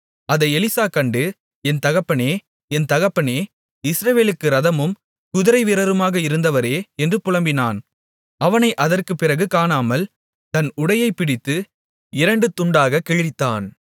அதை எலிசா கண்டு என் தகப்பனே என் தகப்பனே இஸ்ரவேலுக்கு இரதமும் குதிரைவீரருமாக இருந்தவரே என்று புலம்பினான் அவனை அதற்குப் பிறகு காணாமல் தன் உடையைப் பிடித்து இரண்டு துண்டாகக் கிழித்தான்